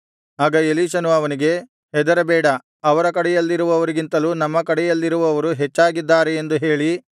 ಆಗ ಎಲೀಷನು ಅವನಿಗೆ ಹೆದರಬೇಡ ಅವರ ಕಡೆಯಲ್ಲಿರುವವರಿಗಿಂತಲೂ ನಮ್ಮ ಕಡೆಯಲ್ಲಿರುವವರು ಹೆಚ್ಚಾಗಿದ್ದಾರೆ ಎಂದು ಹೇಳಿ